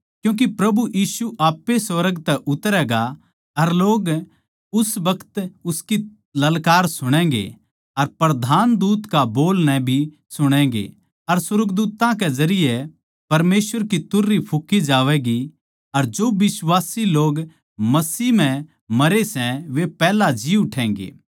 क्यूँके प्रभु यीशु आप ए सुर्ग तै उतरैगा अर लोग उस बखत उसकी ललकार सुणैगें अर प्रधान दूत का बोल नै भी सुणैगें अर सुर्गदूत्तां जरिये परमेसवर की तुरही फूँकी जावैगी अर जो बिश्वासी लोग मसीह म्ह मरे सै वे पैहल्या जी उठैगें